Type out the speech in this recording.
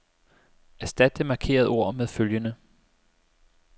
Erstat det markerede ord med følgende.